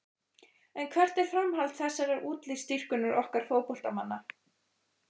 En hvert er framhald þessarar útlitsdýrkunar okkar fótboltamanna?